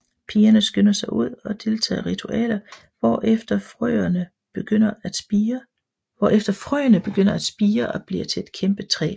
Pigerne skynder sig ud og deltager i ritualer hvorefter frøene begynder at spire og bliver til et kæmpe træ